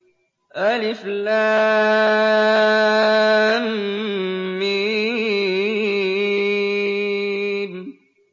الم